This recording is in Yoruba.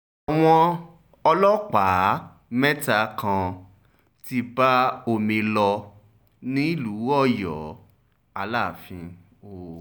àwọn ọlọ́pàá mẹ́ta kan ti bá omi lò nílù ọyọ́ aláàfin o